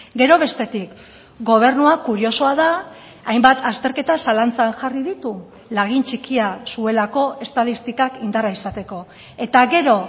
gero bestetik gobernua kuriosoa da hainbat azterketa zalantzan jarri ditu lagin txikia zuelako estatistikak indarra izateko eta gero